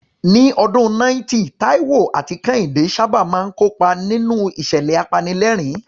Ní ọdún 90, Taiwo àti Kehinde sábà máa ń kópa nínú ìṣẹ̀lẹ̀ apanilẹ́rìn-ín.